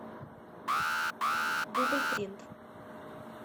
дубль принт